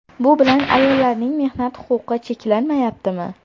Bu bilan ayollarning mehnat huquqi cheklanmayaptimi?